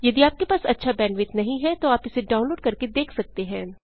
यदि आपके पास अच्छा बैंडविड्थ नहीं है तो आप इसे डाउनलोड करके देख सकते हैं